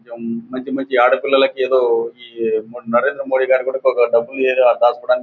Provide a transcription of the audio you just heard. కొంచెం మంచి మంచి ఆడపిల్లలకి ఎదో ఈ నరేంద్ర మోడీ గారు డబ్బులు ఏదో దాచుకోవడానికి--